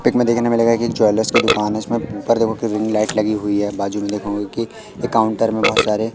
pick में देखने मिलेगा कि एक ज्वेलर्स की दुकान है जिसमें हर जगहो पे रिंग लाइट लगी हुई है बाजू में देखोगे की एक काउंटर में बहोत सारे--